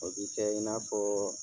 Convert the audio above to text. O bi kɛ i n'a fɔ